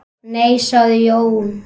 Nei sagði Jón.